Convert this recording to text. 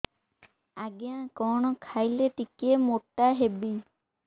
ଆଜ୍ଞା କଣ୍ ଖାଇଲେ ଟିକିଏ ମୋଟା ହେବି